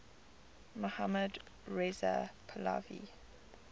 mohammad reza pahlavi